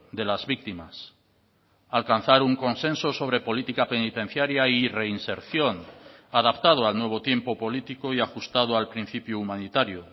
de las víctimas alcanzar un consenso sobre política penitenciaria y reinserción adaptado al nuevo tiempo político y ajustado al principio humanitario